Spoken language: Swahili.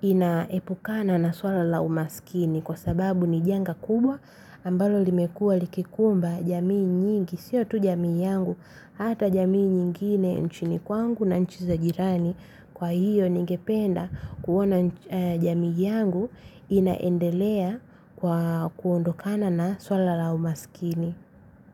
inaepukana na swala la umaskini kwa sababu ni janga kubwa ambalo limekua likikumba jamii nyingi. Sio tu jamii yangu hata jamii nyingine nchini kwangu na nchi za jirani kwa hiyo ningependa kuona jamii yangu inaendelea kwa kuondokana na swala la umaskini.